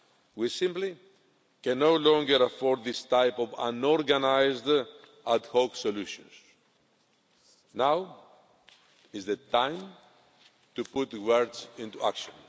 We simply can no longer afford these types of unorganised ad hoc solutions. Now is the time to put words into action.